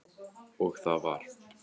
Og það var